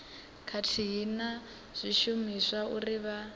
khathihi na zwishumiswa uri vha